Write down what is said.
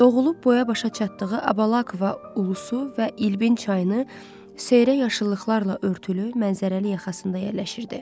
Doğulub boya-başa çatdığı Abalakova Ulusu və İlbim çayını xeyrə yaşıllıqlarla örtülü mənzərəli yaxasında yəlişirdi.